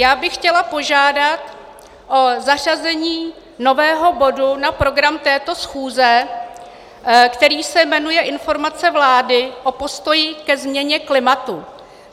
Já bych chtěla požádat o zařazení nového bodu na program této schůze, který se jmenuje Informace vlády o postoji ke změně klimatu.